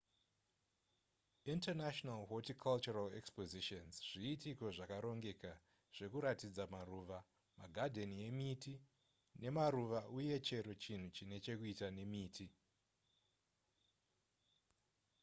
international horticultural expositions zviitiko zvakarongeka zvekuratidza maruva magadheni emiti nemaruva uye chero chinhu chine chekuita nemiti